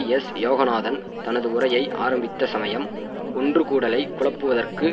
S Yoganathan தனது உரையை ஆரம்பித்த சமயம் ஒன்றுகூடலை குழப்புவதற்குத்